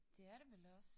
Det er det vel også